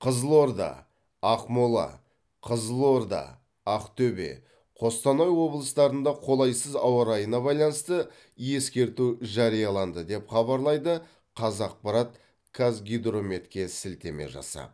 қызылорда ақмола қызылорда ақтөбе қостанай облыстарында қолайсыз ауа райына байланысты ескерту жарияланды деп хабарлайды қазақпарт қазгидрометке сілтеме жасап